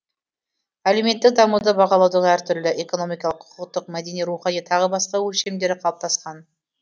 әлеуметтік дамуды бағалаудың әртүрлі экономикалық құқықтық мәдени рухани тағы басқа өлшемдері калыптаскан